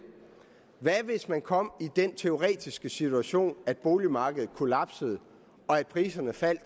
hvad hvis man kommer i den teoretiske situation at boligmarkedet kollapser og priserne falder